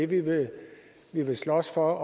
det vi vil slås for og